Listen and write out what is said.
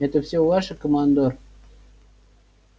это все ваше командор